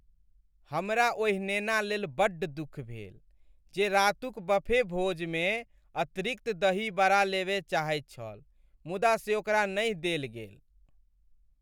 हमरा ओहि नेना लेल बड्ड दुख भेल जे रातुक बफे भोजमे अतिरिक्त दही वड़ा लेबय चाहैत छल मुदा से ओकरा नहि देल गेल।